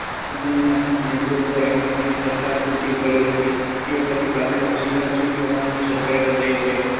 કમલનાથ નેતૃત્વ હેઠળની સરકાર તૂટી પડી હતી તે પછી ભાજપના શિવરાજ સિંહ ચૌહાણની સરકાર રચાઈ છે.